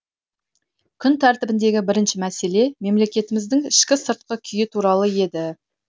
күн тәртібіндегі бірінші мәселе мемлекетіміздің ішкі сыртқы күйі туралы еді